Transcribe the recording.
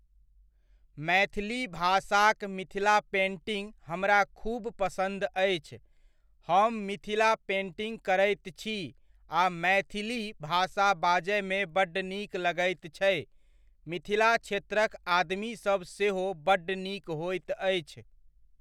मैथिली भाषाक मिथिला पेन्टिङ्ग हमरा खूब पसन्द अछि, हम मिथिला पेन्टिङ्ग करैत छी आ मैथिली भाषा बाजयमे बड्ड नीक लगैत छै, मिथिला क्षेत्रक आदमीसब सेहो बड्ड नीक होइत अछि।